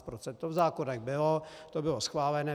To v zákonech bylo, to bylo schválené.